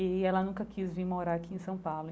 E ela nunca quis vim morar aqui em São Paulo.